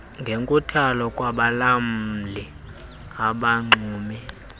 ngenkuthalo kwabalawuli abanxumi